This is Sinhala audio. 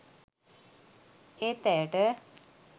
ඒත් ඇයට